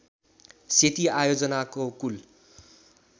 सेती आयोजनाको कुल